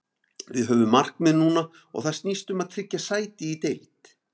Við höfum markmið núna og það snýst um að tryggja sæti í deild.